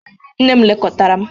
Nne m lekọtara m.